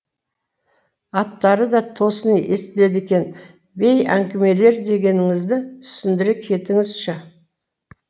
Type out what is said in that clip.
аттары да тосын естіледі екен бей әңгімелер дегеніңізді түсіндіре кетіңізші